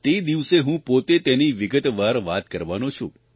તે દિવસે હું પોતે તેની વિગતવાર વાત કરવાનો છું